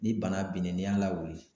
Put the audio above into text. Ni bana benen n'i y'a lawuli